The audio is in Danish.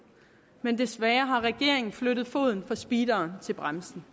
men desværre har regeringen flyttet foden fra speederen til bremsen